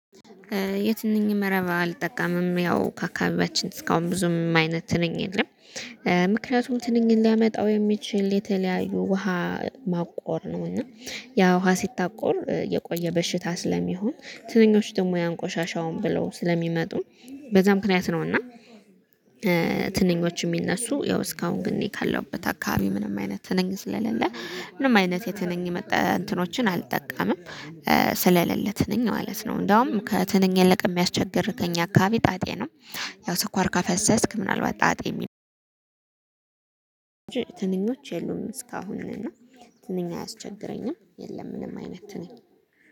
የትንኝ መረብ አልጠቀም። ያው አካባቢያችን እስካሁን ብዙም አይነት ትንኝ የለም። ምክንያቱም ትንንኝን ሊያመጣው የሚችል የተለያዩ ውሃ ማቆር። ነው እና ያ ውሃ ሲታቆር የቆየ በሽታ ስለሚሆን ትንኞች ደግሞ ያንቆሻሻውን ብለው ስለሚመጡ በዛ ምክንያት ነውና እና ትንኞች የሚነሱ ያው እስካሁን ግን እኔ ካለሁበት አካባቢ ምንም አይነት ትንኝ ስለሌለ ምንም አይነት የትንኝ መጠ እንትኖችን አልጠቃምም። ስለሌለ ትንኝ ማለት ነው። እንደውም ከትንኝ የለቀ የሚያስቸግርከኝ ከኛ አካባቢ ጣጤ ነው ያው ስኳር ከፈሰስክ ምናልባት ጣጤ ትንኞች የሉም እስካሁን እና ትንኛ አያስቸግረኝም የለምንም አይነት ትንኝ